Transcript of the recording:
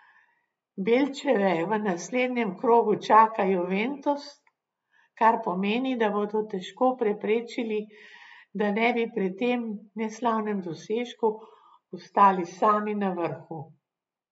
Belčeve v naslednjem krogu čaka Juventus, kar pomeni, da bodo težko preprečili, da ne bi pri tem neslavnem dosežku ostali sami na vrhu.